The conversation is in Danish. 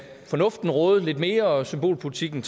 fornuften råde lidt mere og symbolpolitikken